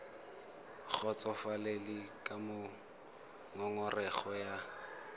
kgotsofalele ka moo ngongorego ya